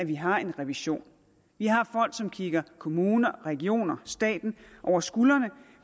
vi har en revision vi har folk som kigger kommunerne regionerne og staten over skuldrene